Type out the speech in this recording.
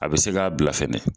A bɛ se k'a bila fɛnɛ.